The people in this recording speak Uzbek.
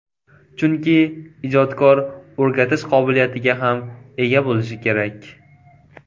Chunki ijodkor o‘rgatish qobiliyatiga ham ega bo‘lishi kerak.